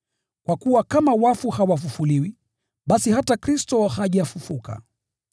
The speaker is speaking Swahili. Kwa kuwa kama wafu hawafufuliwi, basi hata Kristo hajafufuka.